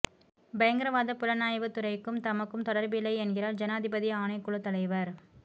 பயங்கரவாதப் புலனாய்வுத் துறைக்கும் தமக்கும் தொடர்பில்லை என்கிறார் ஜனாதிபதி ஆணைக்குழுத் தலைவர்